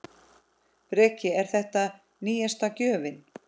Breki: Er þetta síðasta gjöfin?